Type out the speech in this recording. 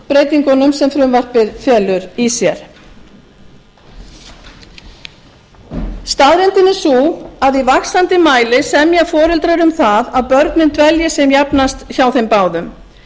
breytingunum sem frumvarpið felur í sér staðreyndin er sú að í vaxandi mæli semja foreldrar um það að börnin dvelji sem jafnast hjá þeim báðum